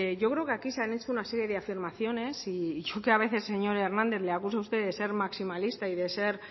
yo creo que aquí se han hecho una serie de afirmaciones y yo que a veces señor hernández le acuso a usted de ser maximalista y de ser